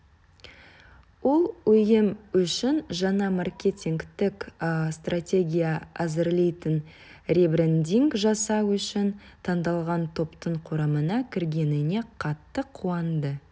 ол ұйым үшін жаңа маркетингтік стратегия әзірлейтін ребрендинг жасау үшін таңдалған топтың құрамына кіргеніне қатты қуанды